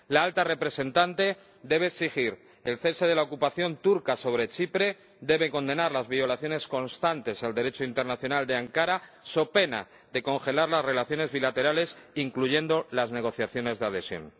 La Alta Representante debe exigir el cese de la ocupación turca de Chipre, debe condenar las constantes violaciones del Derecho internacional por parte de Ankara so pena de congelar las relaciones bilaterales, incluyendo las negociaciones de adhesión.